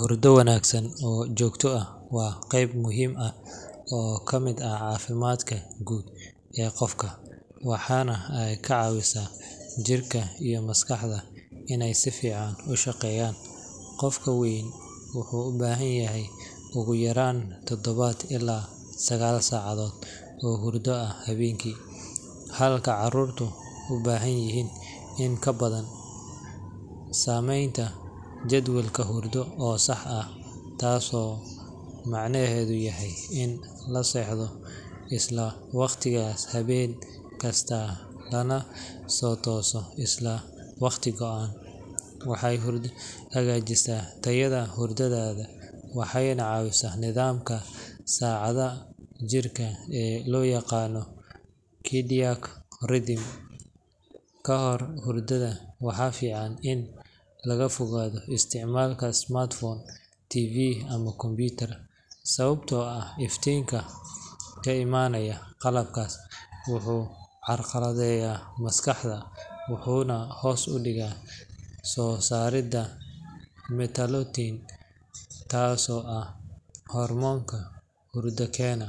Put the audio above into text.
Hurdo wanaagsan oo joogto ah waa qayb muhiim ah oo ka mid ah caafimaadka guud ee qofka, waxaana ay ka caawisaa jirka iyo maskaxda inay si fiican u shaqeeyaan. Qof weyn wuxuu u baahan yahay ugu yaraan todoba ilaa sagaal saacadood oo hurdo ah habeenkii, halka carruurtu u baahanyihiin in ka badan. Sameynta jadwal hurdo oo sax ah—taasoo macnaheedu yahay in la seexdo isla waqtigaas habeen kasta lana soo tooso isla waqti go'an—waxay hagaajisaa tayada hurdada waxayna caawisaa nidaamka saacadda jirka ee loo yaqaan circadian rhythm. Kahor hurdada, waxaa fiican in laga fogaado isticmaalka smartphone, TV, ama computer, sababtoo ah iftiinka ka imaanaya qalabkaas wuxuu carqaladeeyaa maskaxda wuxuuna hoos u dhigaa soo saaridda melatonin, taasoo ah hormoonka hurdo keena.